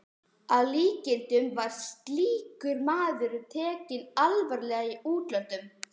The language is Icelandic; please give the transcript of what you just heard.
Að líkindum var slíkur maður tekinn alvarlega í útlöndum.